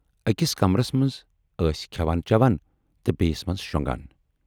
ٲکِس کمرس منز ٲسۍ کھٮ۪وان چٮ۪وان تہٕ بییِس منز شۅنگان۔